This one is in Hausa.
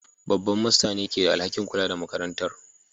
Babban Master ne ke da alhakin kula da makarantar